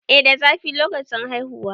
eh da zafi lokacin haihuwa